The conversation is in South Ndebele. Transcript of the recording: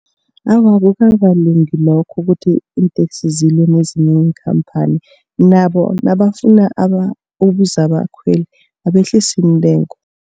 Awa, akukakalungi lokho ukuthi iinteksi zilwe nezinye iinkhampani nabo nabafuna ukuza abakhweli abehlise iintengo.